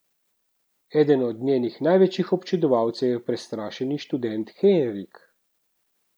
Eden od njenih največjih občudovalcev je prestrašeni študent Henrik.